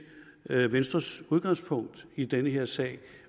venstres udgangspunkt i den her sag